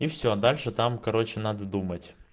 и все дальше там короче надо думать